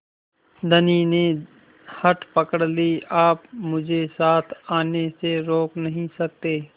धनी ने हठ पकड़ ली आप मुझे साथ आने से रोक नहीं सकते